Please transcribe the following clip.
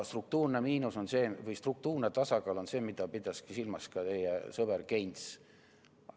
Struktuurne tasakaal on see, mida pidas silmas ka teie sõber Keynes.